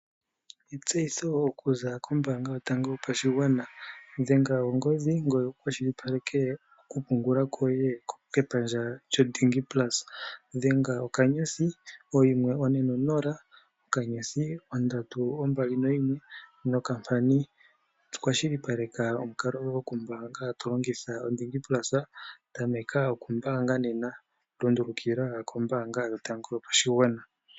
Etseyitho okuza kombaanga yotango yopashigwana, dhenga ongodhi ngoye wu kwashilipaleke okupungula koye kepandja lyo DigiPlus. Dhenga *140*321# kwashilipaleke okumbaanga koye to longitha oDigiPlus, tameka okumbaanga nena, lundulukila kombaanga yotango yopashigwana.